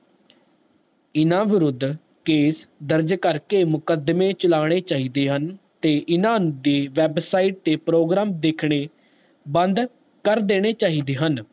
ਇੰਨਾ ਵਿਰੁਧ case ਦਰਜ ਕਰਕੇ ਮੁਕਦਮੇ ਚਲਣੇ ਚਾਹੀਦੇ ਹਨ ਤੇ ਇਨਾ ਦੀ website ਤੇ program ਦੇਖਣੇ ਬੰਦ ਕਰ ਦੇਣੇ ਚਾਹੀਦੇ ਹਨ